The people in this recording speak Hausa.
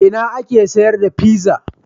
A ina ake sayar da pizza?